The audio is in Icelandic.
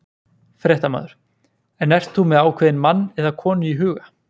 Fréttamaður: En ert þú með ákveðinn mann eða konu í huga?